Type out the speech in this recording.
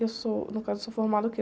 Eu sou, no caso, sou formada o quê?